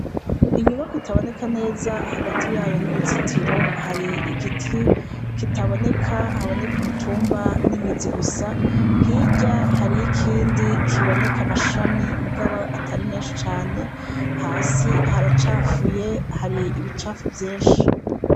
Inyubakwa itaboneka neza ,hagati yayo n'uruzitiro har'igiti kitaboneka haboneka umutumba n'imizi gusa. Hirya hariyo ikindi kiboneka amashami mugabo atari menshi cane. Hasi haracafuye har'ibicafu vyinshi.